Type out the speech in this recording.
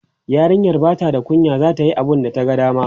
yarinyan Bata da kunya zata Yi abunda ta ga dama